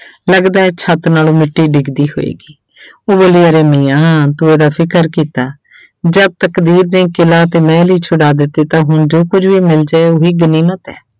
ਲੱਗਦਾ ਹੈ ਛੱਤ ਨਾਲੋਂ ਮਿੱਟੀ ਡਿੱਗਦੀ ਹੋਏਗੀ ਮੀਆਂ ਤੂੰ ਸਾਡਾ ਫ਼ਿਕਰ ਕੀਤਾ ਜਦ ਤਕਦੀਰ ਨੇ ਕਿਲ੍ਹਾ ਤੇ ਮਹਿਲ ਹੀ ਛੁਡਵਾ ਦਿੱਤੇ ਤਾਂ ਹੁਣ ਜੋ ਕੁੱਝ ਵੀ ਮਿਲ ਜਾਏ ਉਹ ਗਨੀਮਤ ਹੈ।